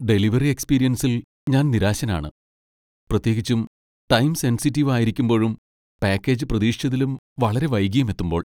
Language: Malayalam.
ഡെലിവറി എക്സ്പീരിയൻസിൽ ഞാൻ നിരാശനാണ്, പ്രത്യേകിച്ചും ടൈം സെൻസിറ്റീവ് ആയിരിക്കുമ്പോഴും പാക്കേജ് പ്രതീക്ഷിച്ചതിലും വളരെ വൈകിയും എത്തുമ്പോൾ.